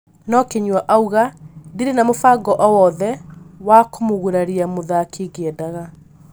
No Kinyua aũga "ndire na mũbango owothe wa kumũgũraria mũthaki ngĩendaga"